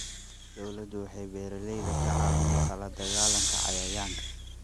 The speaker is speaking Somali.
Dawladdu waxay beeralayda ka caawinaysaa la dagaalanka cayayaanka.